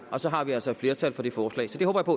og så har vi altså et flertal for det forslag så det